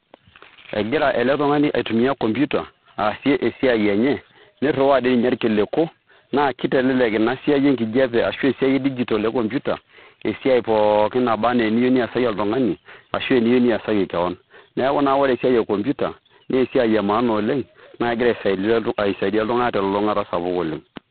Egira ele tung'ani aitumia computer aasie esiai enye, nirriwayie doi ninye irkiliku naa kitelelek ina siai enkijiape ashu e digital e computer esiai pookin niyieu niasaki oltung'ani ashu eniyieu niasaki kewon. Neeku naa ore esiai e computer naa esiai e maana oleng' naa kegira aisaidia iltung'anak te elulung'ata1 sapuk oleng'.